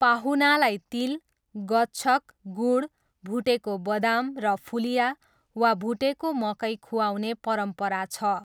पाहुनालाई तिल, गच्छक, गुँड, भुटेको बदाम र फुलिया वा भुटेको मकै खुवाउने परम्परा छ।